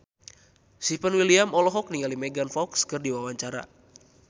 Stefan William olohok ningali Megan Fox keur diwawancara